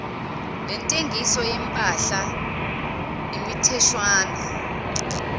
lentengiso yempahla imitheshwana